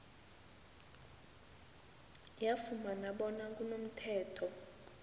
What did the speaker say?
yafumana bona kunomthetho